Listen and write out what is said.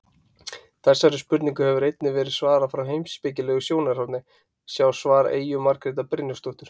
Þessari spurningu hefur einnig verið svarað frá heimspekilegu sjónarhorni, sjá svar Eyju Margrétar Brynjarsdóttur.